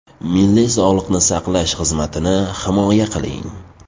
Milliy sog‘liqni saqlash xizmatini himoya qiling.